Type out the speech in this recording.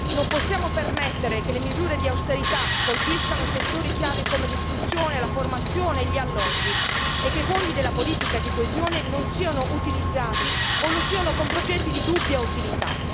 Non possiamo permettere che le misure di austerità colpiscano settori chiave, come l'istruzione, la formazione e gli alloggi e che i fondi della politica di coesione non siano utilizzati o lo siano con progetti di dubbia utilità.